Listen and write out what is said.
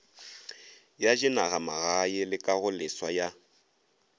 ya dinagamagae le kagoleswa ya